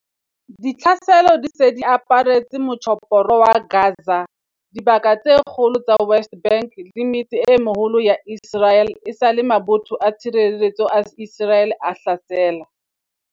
Ditlhaselo di se di aparetse Motjhophoro wa Gaza, dibaka tse kgolo tsa West Bank le metse e meholo ya Iseraele esale mabotho a tshireletseho a Iseraele a hlasela